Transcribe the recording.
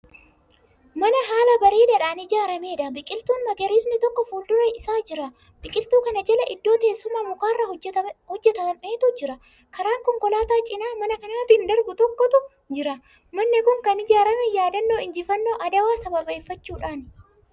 Mana haala bareedaadhaan ijaarameedha. biqiltuun magariisni tokko fuuldura Isaa jira. biqiltuu kana Jala iddoo teessumaa mukarraa hojjatametu jira. karaan konkolaataa cinaa mana kanaatin darbuu tokkotu jira. manni Kuni Kan ijaarame yaadannoo injifaannoo adawaa sababeeffachuudhani